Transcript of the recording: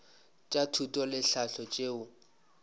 tša thuto le tlhahlo tšeo